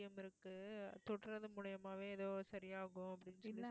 இருக்கு தொடுறது மூலியமாவே ஏதோ சரியாகும் அப்படின்னு சொல்லி